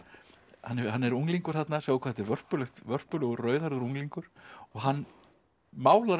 hann er unglingur þarna sjá hvað er vörpulegur vörpulegur rauðhærður unglingur og hann málar